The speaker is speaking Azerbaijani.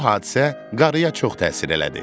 Bu hadisə qarıya çox təsir elədi.